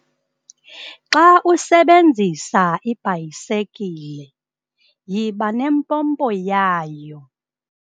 Xa usebenzisa ibhayisikile yiba nempompo yabo.